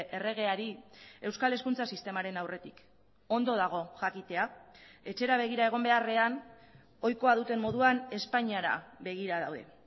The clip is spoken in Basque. erregeari euskal hezkuntza sistemaren aurretik ondo dago jakitea etxera begira egon beharrean ohikoa duten moduan espainiara begira daude